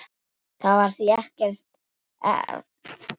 Það var því ekki að undra þótt